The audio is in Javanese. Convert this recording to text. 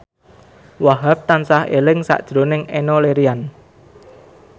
Wahhab tansah eling sakjroning Enno Lerian